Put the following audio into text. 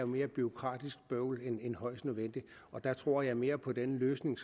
mere bureaukratisk bøvl end højst nødvendigt og der tror jeg mere på den løsning